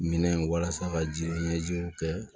Minɛn walasa ka jiɲɛjiw kɛ